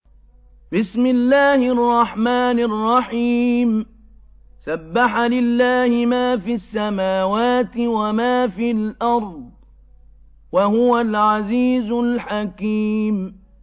سَبَّحَ لِلَّهِ مَا فِي السَّمَاوَاتِ وَمَا فِي الْأَرْضِ ۖ وَهُوَ الْعَزِيزُ الْحَكِيمُ